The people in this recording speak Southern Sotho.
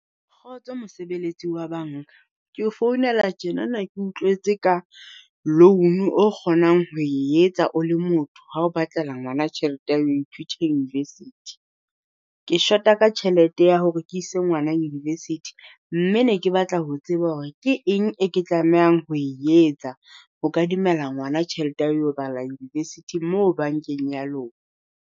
Kgotso mosebeletsi wa banka, keo founela tjena ne ke utlwetse ka loan o kgonang ho e etsa o le motho ha o batlela ngwana tjhelete ya ho ithutela university. Ke shota ka tjhelete ya hore ke ise ngwana university, mme ne ke batla ho tseba hore ke eng e ke tlamehang ho e etsa ho kadimela ngwana tjhelete ya ho yo bala university mo bankeng ya lona?